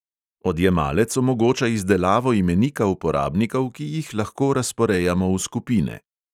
Odjemalec omogoča izdelavo imenika uporabnikov, ki jih lahko razporejamo v skupine.